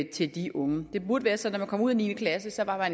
til de unge det burde være sådan man kom ud af niende klasse var